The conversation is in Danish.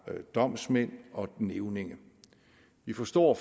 domsmænd og nævninge vi forstår